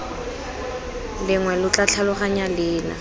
lengwe lo tla tlhaloganya leina